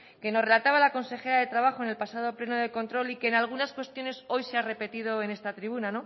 que nos relataba la consejera de trabajo en el pasado pleno de control y que en algunas cuestiones hoy se ha repetido en esta tribuna